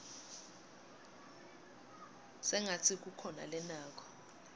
sengatsi kukhona lanako